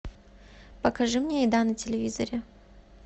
покажи мне еда на телевизоре